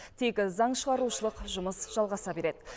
тек заң шығарушылық жұмыс жалғаса береді